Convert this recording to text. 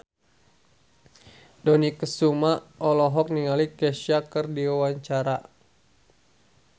Dony Kesuma olohok ningali Kesha keur diwawancara